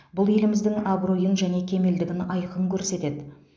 бұл еліміздің абыройын және кемелдігін айқын көрсетеді